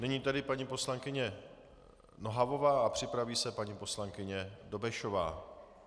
Nyní tedy paní poslankyně Nohavová a připraví se paní poslankyně Dobešová.